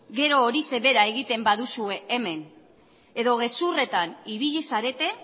gero horixe bera egiten baduzue hemen edo gezurretan ibili zarete